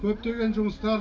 көптеген жұмыстар